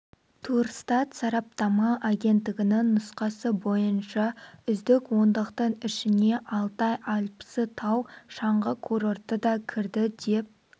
турстат сараптама агенттігінің нұсқасы бойынша үздік ондықтың ішіне алтай альпісі тау шаңғы курорты да кірді деп